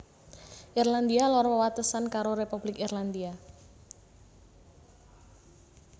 Irlandia Lor wewatesan karo Republik Irlandia